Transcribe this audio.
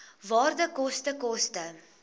waarde koste koste